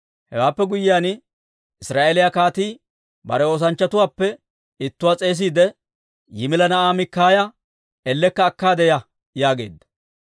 Hewaappe guyyiyaan, Israa'eeliyaa kaatii bare oosanchchatuwaappe ittuwaa s'eesiide, «Yimila na'aa Mikaaya ellekka akkaade ya» yaageedda.